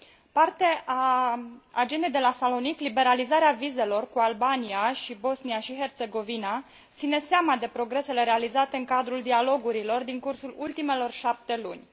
Parte a Agendei de la Salonic, liberalizarea vizelor cu Albania și Bosnia și Herțegovina ține seama de progresele realizate în cadrul dialogurilor din cursul ultimelor șapte luni.